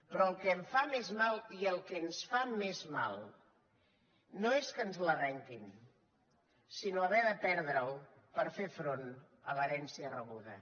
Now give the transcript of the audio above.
però el que em fa més mal i el que ens fa més mal no és que ens l’arrenquin sinó haver de perdre’l per fer front a l’herència rebuda